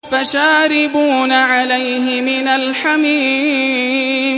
فَشَارِبُونَ عَلَيْهِ مِنَ الْحَمِيمِ